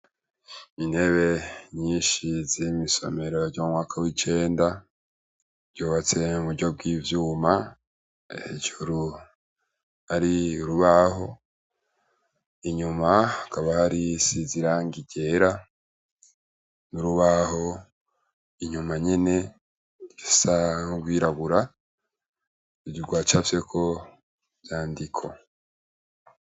intebe nyinshi z'imisomero ry'umwaka w'icenda ryubatse muburyo bw'ivyuma hejuru ari rubaho inyuma akaba hari si zirangi ryera n'urubaho inyuma nyine risangwirabura rwacafyeko ivyandiko.